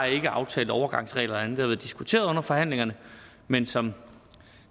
ikke aftalt overgangsregler eller diskuteret under forhandlingerne men som